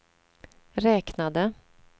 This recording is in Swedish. räknade